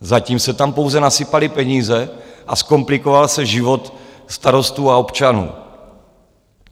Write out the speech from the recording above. Zatím se tam pouze nasypaly peníze a zkomplikoval se život starostů a občanů.